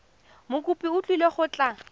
mokopi o tlile go tla